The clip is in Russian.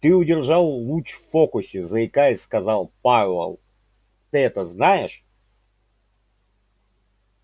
ты удержал луч в фокусе заикаясь сказал пауэлл ты это знаешь